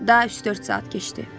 Daha üç-dörd saat keçdi.